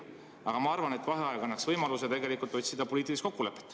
Aga ma arvan, et vaheaeg annaks võimaluse otsida poliitilist kokkulepet.